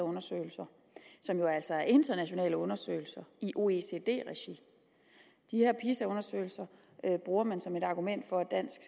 undersøgelser som jo altså er internationale undersøgelser i oecd regi de her pisa undersøgelser bruger man som et argument for at dansk